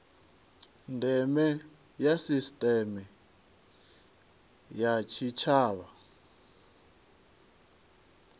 ndeme ya sisiteme ya tshitshavha